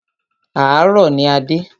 Àárọ̀ ní a dé.